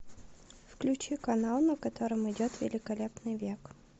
включи канал на котором идет великолепный век